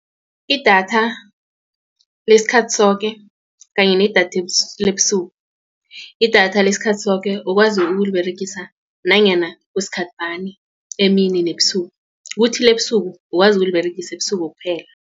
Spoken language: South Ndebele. Idatha lesikhathi soke kanye nedatha lebusuku. Idatha lesikhathi soke ukwazi ukuliberegisa nanyana kusikhathi bani emini nebusuku kuthi ebusuku ukwazi ukuliberegisa ebusuku kuphela.